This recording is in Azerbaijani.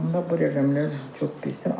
Amma bu rəqəmlər çox pisdir.